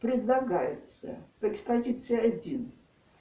предлагается по экспозиции один